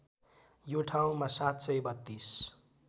यो ठाउँमा ७३२